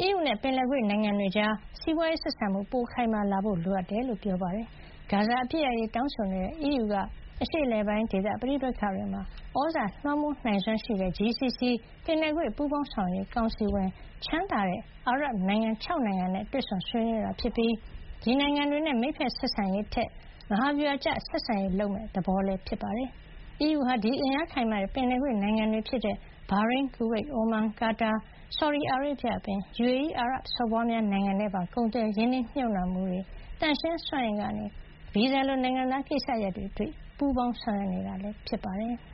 အီးယူနဲ့ ပင်လယ်ကွေ့နိုင်ငံတွေကြား စီးပွါးရေး ဆက်ဆံမှု ပိုမိုခိုင်လာလာဖို့ လိုအပ်ကြောင်း ပြောပါတယ်။ ဂါဇာ အပစ်ရပ်ရေး တောင်းဆိုနေတဲ့ အီးယူက အရှေ့အလယ်ပိုင်း ဒေသပဋိပက္ခတွေမှာ သြဇာလွှမ်းမိုးနိုင်စွမ်းရှိတဲ့GCC- ပင်လယ်ကွေ့ပူးပေါင်းဆောင်ရွက်ရေး ကောင်စီဝင် ချမ်းသာတဲ့ အာရပ်နိုင်ငံ ၆ နိုင်ငံနဲ့ တွေ့ဆုံ ဆွေးနွေးတာဖြစ်ပြီး ဒီ နိုင်ငံတွေနဲ့ မိတ်ဘက်ဆက်ဆံရေးထက် မဟာဗျူဟာကျ ဆက်ဆံရေး လုပ်မယ့် သဘောဖြစ်ပါတယ်။ အီးယူဟာဒီအင်အားခိုင်မာတဲ့ ပင်လယ်ကွေ့ နိုင်ငံတွေ ဖြစ်ကြတဲ့ ဘာရိန်း၊ ကူဝိတ်၊ အိုမန်၊ ကာတာ၊ ဆော်ဒီအာရေဗျအပြင် UAE အာရပ်စော်ဘွားများ နိုင်ငံနဲ့ပါ ကုန်သွယ်မှု၊ ရင်းနှီးမြှုပ်နှံမှုတွေ သန့်ရှင်းစွမ်းအင်ကနေ ဗီဇာလို နိုင်ငံသားကိစ္စရပ်တွေအထိ ပူးပေါင်းဆောင်ရွက်နေတာ ဖြစ်ပါတယ်။